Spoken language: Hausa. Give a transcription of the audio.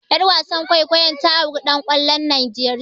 Ƴar wasan kwaikwayon ta auri ɗan kwallon Nigeria.